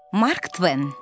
Mark Tven.